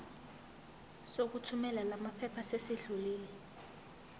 sokuthumela lamaphepha sesidlulile